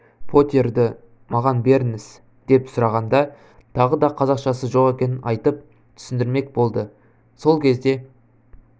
поттерді маған беріңіз деп сұрағанда тағы да қазақшасы жоқ екенін айтып түсіндірмек болды сол кезде